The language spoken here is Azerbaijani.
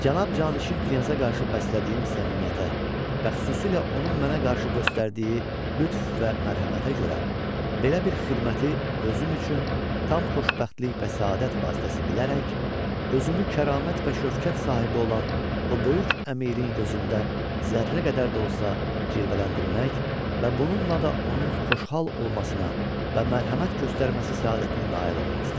Cənab Canişin knyaza qarşı bəslədiyim səmimiyyətə və xüsusilə onun mənə qarşı göstərdiyi lütf və mərhəmətə görə, belə bir xidməti özüm üçün tam xoşbəxtlik və səadət vasitəsi bilərək, özümü kəramət və şövkət sahibi olan o böyük əmirin gözündə zərrə qədər də olsa cilvələndirmək və bununla da onun xoşhal olmasına və mərhəmət göstərməsi səadətinə nail olmaq istədim.